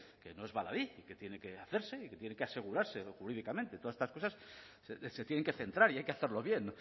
que no es baladí que tiene que hacerse y que tiene que asegurarse jurídicamente todas estas cosas se tienen que centrar y hay que hacerlo bien